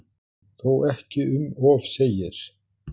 Þó ekki um of segir